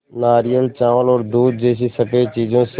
नारियल चावल और दूध जैसी स़फेद चीज़ों से